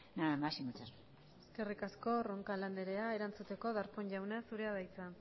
nada más y muchas gracias eskerrik asko roncal andrea erantzuteko darpón jauna zurea da hitza